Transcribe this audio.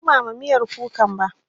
Ban ɗumama miyar kukan ba.